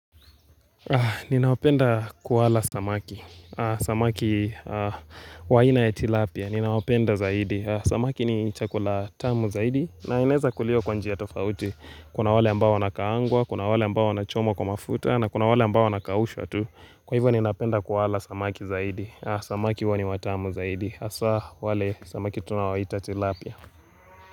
Ninaopenda kuwala samaki Samaki waina ya tilapia Ninawapenda zaidi Samaki ni chakula tamu zaidi na inaweza kuliwa kwa njia kwa tofauti Kuna wale ambao wana kaangwa Kuna wale ambao wanachomwa kwa mafuta na kuna wale ambao wanakaushwa tu Kwa hivyo ninapenda kuwala samaki zaidi Samaki huwa ni watamu zaidi hasa wale samaki tunawaita tilapia.